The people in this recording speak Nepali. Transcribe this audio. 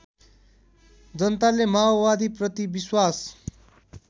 जनताले माओवादीप्रति विश्वास